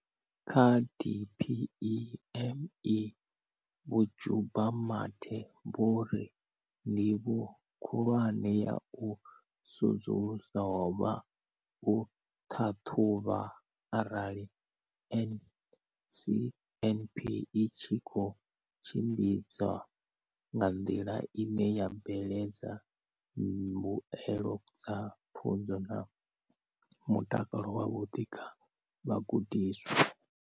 Kha DPME, Vho Jabu Mathe, vho ri ndivho khulwane ya u sedzulusa ho vha u ṱhaṱhuvha arali NSNP i tshi khou tshimbidzwa nga nḓila ine ya bveledza mbuelo dza pfunzo na mutakalo wavhuḓi kha vhagudiswa.